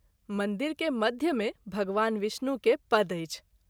मंदिर के मध्य मे भगवान विष्णु के पद अछि।